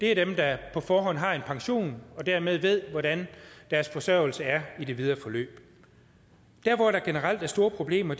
er dem der på forhånd har en pension og dermed ved hvordan deres forsørgelse er i det videre forløb der hvor der generelt er store problemer